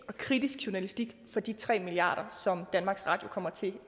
og kritisk journalistik for de tre milliard kr som danmarks radio kommer til